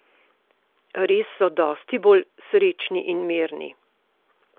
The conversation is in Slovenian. Res so dosti bolj srečni in mirni!